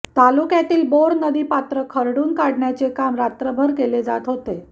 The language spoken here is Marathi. तालुक्यातील बोर नदीपात्र खरडून काढण्याचे काम रात्रभर केले जात आहे